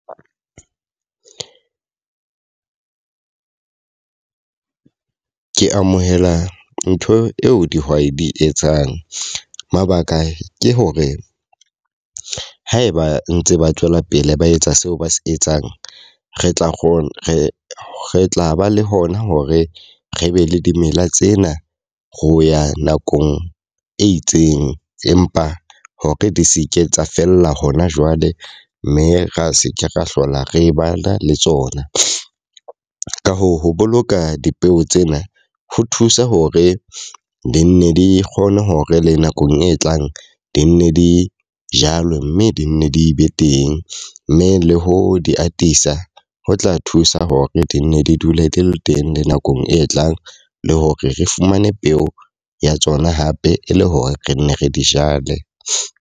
Ke amohela ntho eo dihwai di etsang. Mabaka ke hore haeba ntse ba tswela pele ba etsa seo ba se etsang, re tla kgona re re tla ba le hona hore re be le dimela tsena ro ya nakong e itseng. Empa hore di seke tsa fella hona jwale mme ra se ke ra hlola re bala le tsona. Ka hoo, ho boloka dipeo tsena ho thusa hore di nne di kgone hore le nakong e tlang di nne di jalwa mme di nne di be teng. Mme le ho di atisa ho tla thusa hore di nne di dule di le teng le nakong e tlang le hore re fumane peo ya tsona hape e le hore re nne re di jale.